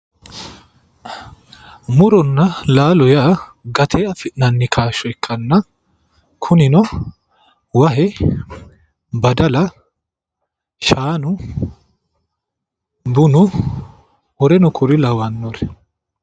Muronna laalo yaa gatee afi'nanni kaashsho ikkanna kunino, wahe, badala, shaanu, bunu woleno kuri lawannori